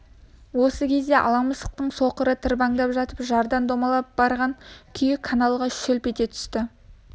осы кезде ала мысықтың соқыры тырбаңдап жатып жардан домалап барған күйі каналға шолп ете түсті